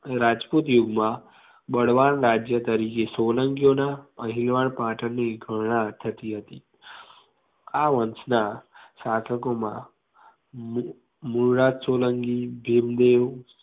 રાજપૂત યુગમાં બળવાન રાજ્ય તરીકે સોલંકીઓના અણહિલવાડ પાટણની ગણના થતી હતી આ વંશ ના શાસકોમાં મા લુરાજ સોલંકી ભીમદેવ